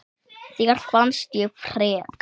Þér fannst ég frek.